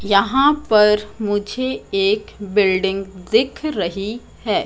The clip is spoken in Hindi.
यहां पर मुझे एक बिल्डिंग दिख रही है।